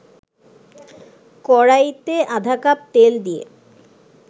কড়াইতে আধা কাপ তেল দিয়ে